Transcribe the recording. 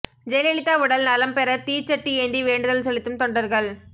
ஜெயலலிதா உடல் நலம் பெற தீச்சட்டி ஏந்தி வேண்டுதல் செலுத்தும் தொண்டர்கள்